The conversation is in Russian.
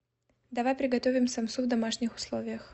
давай приготовим самсу в домашних условиях